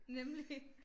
Nemlig